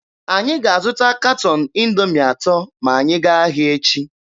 Anyị ga-azụta katọn Indoomi atọ ma anyị gaa ahịa echi.